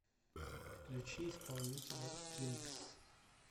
включи исполнителя кингс